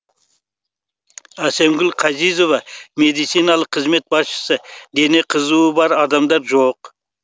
әсемгүл қазизова медициналық қызмет басшысы дене қызуы бар адамдар жоқ